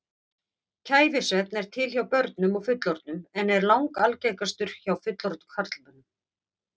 Kæfisvefn er til hjá börnum og fullorðnum en er langalgengastur hjá fullorðnum karlmönnum.